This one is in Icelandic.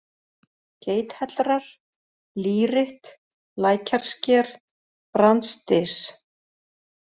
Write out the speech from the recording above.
Geithellrar, Lýritt, Lækjarsker, Brandsdys